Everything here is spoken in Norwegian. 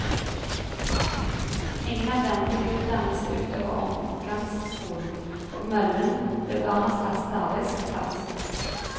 Ingen av dem fikk utdannelse ut over omgangsskolen, og møllen ble barnas faste arbeidsplass.